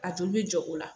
A joli bɛ jɔ o la